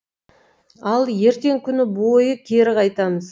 ал ертең күні бойы кері қайтамыз